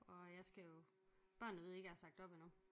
Og jeg skal jo børnene ved ikke jeg har sagt op endnu